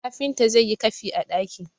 kafinta zai yi kafi a daki!